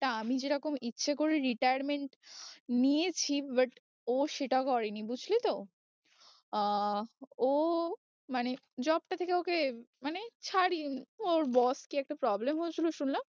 তা আমি যেরকম ইচ্ছে করে retirement নিয়েছি but ও সেটা করেনি বুঝলি তো আহ ও মানে job টা থেকে ওকে মানে ছাড়িয়ে ওর boss কি একটা problem হয়েছিল শুনলাম